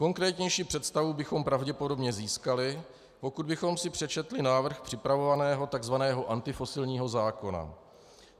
Konkrétnější představu bychom pravděpodobně získali, pokud bychom si přečetli návrh připravovaného tzv. antifosilního zákona.